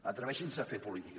atreveixin se a fer política